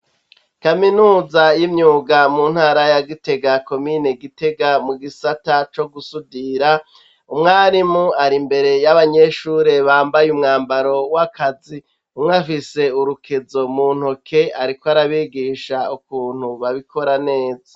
Kaminuza y'imyuga mu ntara ya gite ga komine gitega mu gisata co gusudira umwarimu ari imbere y'abanyeshure bambaye umwambaro w'akazi, umwo afise urukezo muntoke ariko arabigisha ukuntu babikora neza.